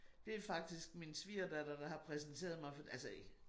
Det faktisk min svigerdatter der har præsenteret mig for altså